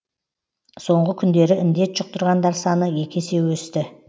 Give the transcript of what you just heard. соңғы күндері індет жұқтырғандар саны екі есе өсті